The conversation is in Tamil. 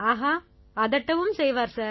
ஆஹா அதட்டவும் செய்வார் சார்